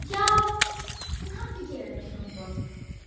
já, hún hafði gefið mér hljómborð.